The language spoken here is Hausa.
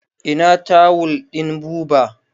Ina tawul ɗin Buba?